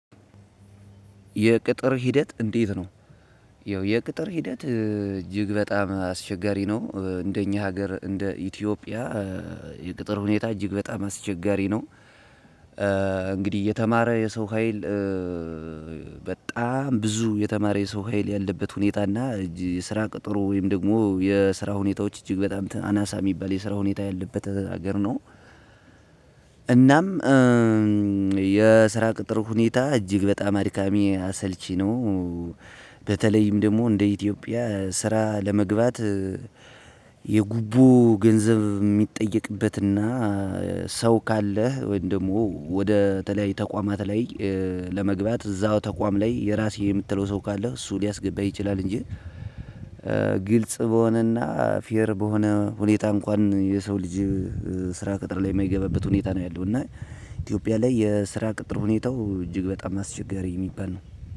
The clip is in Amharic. የቅጥር ሂደት እንዴት ነው? ያው የቅጥር ሂደት እጅግ በጣም አስቸጋሪ ነው። እንደኛ ሀገር እንደ ኢትዮጵያ የቅጥር ሁኔታ እጅግ በጣም አስቸጋሪ ነው። እንግዲህ የተማረ የሰው ሀይል በጣም ብዙ የተማረ የሰው ሀይል ያለበት ሁኔታ እና የስራ ቅጥሩ ወይም ደግሞ የስራ ሁኔታዎች እጅግ በጣም አናሳ የሚባል የስራ ሁኔታ ያለበት ሀገር ነው። እናም የስራ ቅጥር ሁኔታ እጅግ በጣም አድካሚ አሰልቺ ነው። በተለይም ደግሞ እንደ ኢትዮጵያ ስራ ለመግባት እእእ የጉቦ ገንዘብ ሚጠየቅበትና ሰው ካለህ ወይም ደግሞ ወደ ተለያዩ ተቋማት ላይ ለመግባት እዛው ተቋም ላይ የራሴ የምትለው ሰው ካለ እሱ ሊያስገባህ ይችላል እንጂ ግልጽ በሆነና ፌር በሆነ ሁኔታ እንኩዋን የሰው ልጅ ስራ ቅጥር ላይ ማይገባበት ሁኔታ ነው ያለው እና ኢትዮጵያ ላይ የስራ ቅጥር ሁኔታው እጅግ በጣም አስቸጋሪ ሚባል ነው።